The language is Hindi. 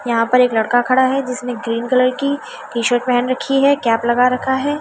यहाँ पर एक लड़का खड़ा हुआ है जिसने ग्रीन कलर की टीशर्ट पहनी राखी है कैप लगा रखा है।